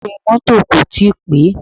Ìwé mọ́tọ̀ kò tíì pé.